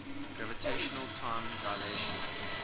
gravitational time dilation